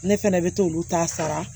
Ne fɛnɛ bɛ t'olu ta sara